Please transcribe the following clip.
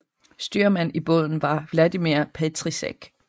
Styrmand i båden var Vladimír Petříček